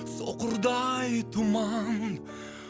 соқырдай тұман